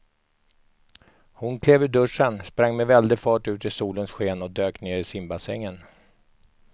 Hon klev ur duschen, sprang med väldig fart ut i solens sken och dök ner i simbassängen.